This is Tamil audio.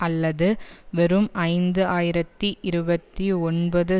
அல்லது வெறும் ஐந்து ஆயிரத்தி இருபத்தி ஒன்பது